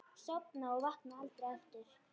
Sofna og vakna aldrei aftur.